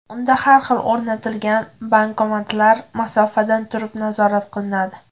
Unda har bir o‘rnatilgan bankomatlar masofadan turib nazorat qilinadi.